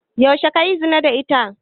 Yaushe kayi zina da ita?